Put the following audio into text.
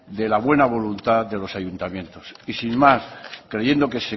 de la buena voluntad de los ayuntamientos y sin más creyendo que